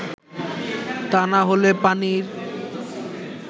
তা না হলে পানির